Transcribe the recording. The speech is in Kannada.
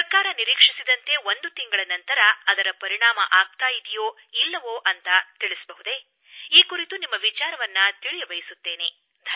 ಸರ್ಕಾರ ನಿರೀಕ್ಷಿಸಿದಂತೆ ಒಂದು ತಿಂಗಳ ನಂತರ ಅದರ ಪರಿಣಾಮವಾಗುತ್ತಿದೆಯೋ ಇಲ್ಲವೋ ಎಂದು ತಾವು ತಿಳಿಸಬಹುದೇ ಈ ಕುರಿತು ನಿಮ್ಮ ವಿಚಾರವನ್ನು ತಿಳಿಯಬಯಸುತ್ತೇನೆ